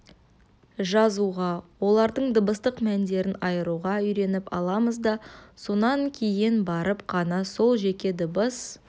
жазуға олардың дыбыстық мәндерін айыруға үйретіп аламыз да сонан кейін барып қана сол жеке дыбыс